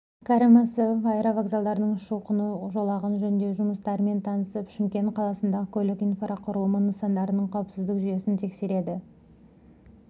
кәрім мәсімов аэровокзалдың ұшу-қону жолағын жөндеу жұмыстарымен танысып шымкент қаласындағы көлік инфрақұрылымы нысандарының қауіпсіздік жүйесін тексереді